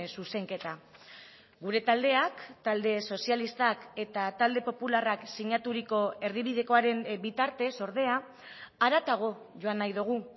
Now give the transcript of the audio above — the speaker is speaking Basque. zuzenketa gure taldeak talde sozialistak eta talde popularrak sinaturiko erdibidekoaren bitartez ordea haratago joan nahi dugu